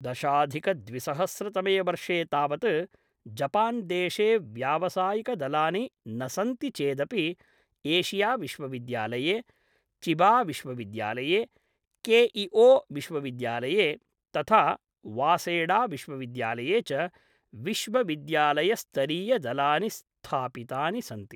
दशाधिकद्विसहस्रतमे वर्षे तावत् जपान्देशे व्यावसायिकदलानि न सन्ति चेदपि एशियाविश्वविद्यालये, चिबाविश्वविद्यालये, केइओविश्वविद्यालये, तथा वासेडाविश्वविद्यालये च विश्वविद्यालयस्तरीयदलानि स्थापितानि सन्ति।